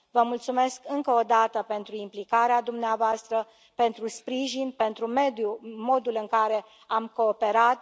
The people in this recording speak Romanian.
Vă mulțumesc încă o dată pentru implicarea dumneavoastră, pentru sprijin, pentru modul în care am cooperat.